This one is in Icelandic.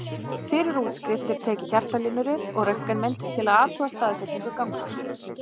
Fyrir útskrift er tekið hjartalínurit og röntgenmynd til að athuga staðsetningu gangráðsins.